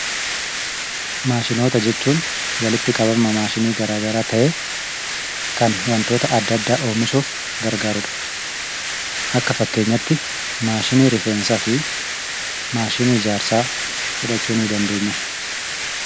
Maashinoota jechuun walitti qabama maashinii garaagaraa ta'ee kan wantoota adda addaa oomishuuf gargaarudha. Akka fakkeenyatti maashinii rifeensaa fi maashinii ijaarsaa fudhachuu nii dandeenya.